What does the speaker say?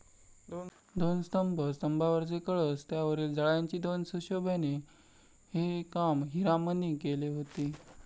दोन स्तंभ, स्तंभावरचे कळस, त्यावरील जाळ्यांची दोन सुशोभने हे काम हिरामने केले होते.